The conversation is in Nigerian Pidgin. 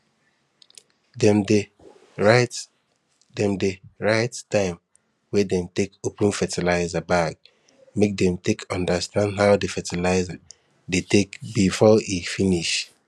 dem dey write dem dey write time wey dem take open fertilizer bag make dem take understand how di fertilizer dey take before e finish